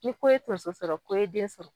Ni ko ye tonso sɔrɔ ko e ye den sɔrɔ